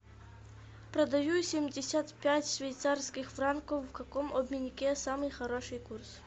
продаю семьдесят пять швейцарских франков в каком обменнике самый хороший курс